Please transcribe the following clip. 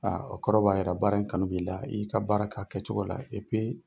Aa o kɔrɔ b'a yira baara in kanu b'i la. I y'i ka baara k'a kɛcogo la